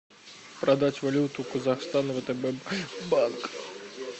продать валюту казахстан втб банк